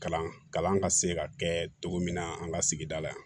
Kalan kalan ka se ka kɛ cogo min na an ka sigida la yan